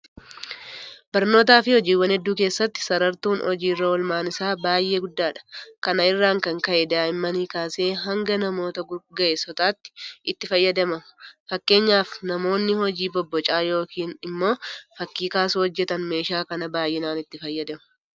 Barnootaafi hojiiwwan hedduu keessatti sarartuun hojii irra oolmaan isaa baay'ee guddadha. Kana irraa kan ka'e daa'immanii kaasee hanga namoota ga'eessotaatti itti fayyadamama. fakkeenyaaf namoonni hojii bobbocaa yookiin immoo fakkii kaasuu hojjetan meeshaa kana baay'inaan itti fayyadamu.